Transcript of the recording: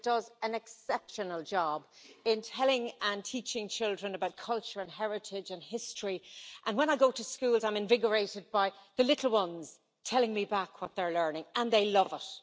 It does an exceptional job in telling and teaching children about culture, heritage and history, and when I go into schools I am invigorated by the little ones telling me back what they are learning, and they love it.